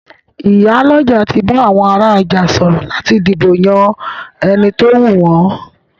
Ìyálọ́jà ti bá àwọn ará ọjà sọ̀rọ̀ láti dìbò yán ẹni tówù wọn.